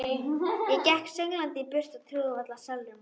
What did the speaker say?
Ég gekk sönglandi í burtu og trúði varla sjálfri mér.